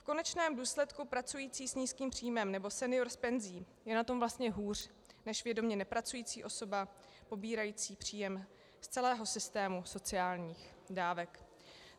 V konečném důsledku pracující s nízkým příjmem nebo senior s penzí je na tom vlastně hůř než vědomě nepracující osoba pobírající příjem z celého systému sociálních dávek.